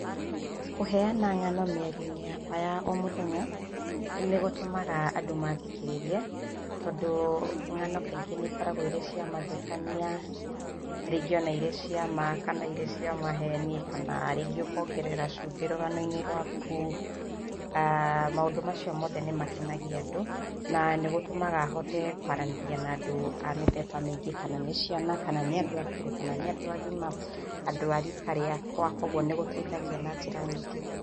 Kũheana ng'ano mĩario-inĩ yakwa ya ũmũthenya nĩgũtũmaga andũ mathikĩrĩrie tondũ ng'ano kaingĩ nĩikũragwo irĩ cia mathekanĩa, rĩngĩ ona irĩ cia ma, kana irĩ cia maheni kana rĩngĩ ũkongerera cumbĩ rũganoinĩ rwaku. Maũndũ macĩo mothe nĩ makenagĩa andũ na nĩ gũtũmaga hote kwaranĩria na andũ a mĩthemba mĩingĩ, kana nĩ ciana kana nĩ andũ akũrũ kana nĩ andũ agima, andũ a rika riakwa. Kwoguo nigũteithagia na njĩra nyingĩ.